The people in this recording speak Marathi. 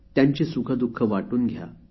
त्यांची सुखे दुःखे वाटून घ्या